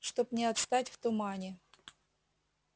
чтоб не отстать в тумане